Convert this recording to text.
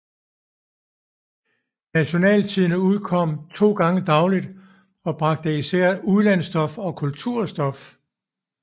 Nationaltidende udkom to gange dagligt og bragte især udlandsstof og kulturstof